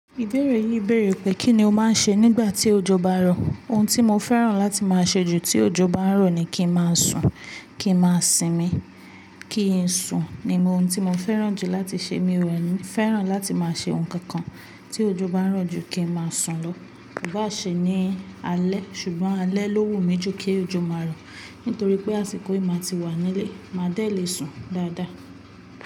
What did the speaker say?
Ìbéèrè yìí bèèrè pé kí ni o máa ń ṣe nígbà tí òjò bá ń rọ̀? Ohun tí mo fẹ́ràn láti máa ṣe jù tí òjò bá n rọ̀ ni kí n máa sùn, kí n máa sinmi. Kí n sùn ni mo ohun tí mo fẹ́ràn jù láti ṣe. Mi ò ni fẹ́ràn láti máa ṣe ohun kankan tí òjò bá ń rọ̀ jù kí n máa sùn lọ. Ó bá ṣe ní alẹ́ ṣùgbọ́n alẹ́ ló wù mí jù kí òjò máa rọ̀ nítorí pé àsìkò yìí máa ti wà nílé, máa dẹ̀ le sùn dáadáa.